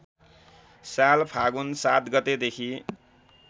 साल फागुन ७ गतेदेखि